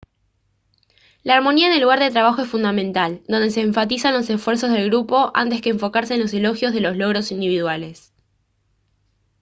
la armonía en el lugar de trabajo es fundamental donde se enfatizan los esfuerzos del grupo antes que enfocarse en los elogios de los logros individuales